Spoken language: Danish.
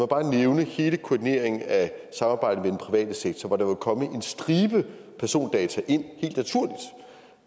bare nævne hele koordineringen af samarbejdet private sektor hvor der vil komme en stribe persondata ind